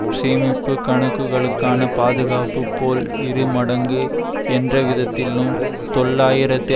சேமிப்பு கணக்குகளுக்கான பாதுகாப்பு போல் இரு மடங்கு என்றவிதத்தில் தொள்ளாயிரத்து